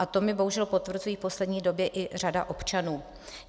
A to mi bohužel potvrzuje v poslední době i řada občanů.